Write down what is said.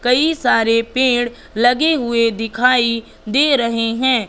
कई सारे पेड़ लगे हुए दिखाई दे रहे हैं।